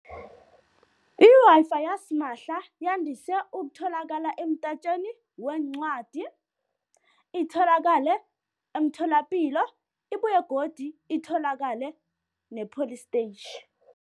I-Wi-Fi yasimahla yandise ukutholakala weencwadi, itholakale emtholapilo, ibuye godi itholakale nepholistetjhi.